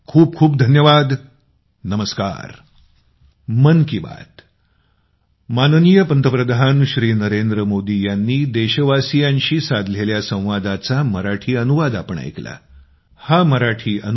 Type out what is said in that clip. खूप खूप धन्यवाद नमस्कार ।